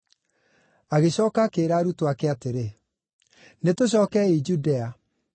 Agĩcooka akĩĩra arutwo ake atĩrĩ, “Nĩtũcookei Judea.”